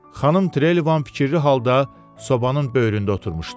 Xanım Trelevan fikirli halda sobanın böyründə oturmuşdu.